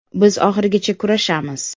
Biz oxirigacha kurashamiz.